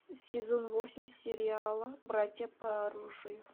сезон восемь сериала братья по оружию